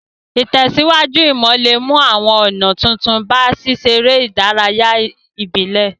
Ìtẹ̀síwájú ìmò le mu àwon ònà tuntun ba síseré ìdárayá ìbílẹ̀